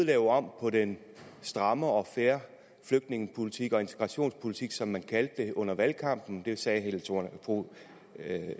lave om på den stramme og fair flygtningepolitik og integrationspolitik som man kaldte det under valgkampen det sagde